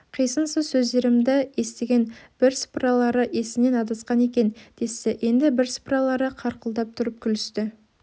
қисынсыз сөздерімді естіген бірсыпыралары есінен адасқан екен десті енді бірсыпыралары қарқылдап тұрып күлісті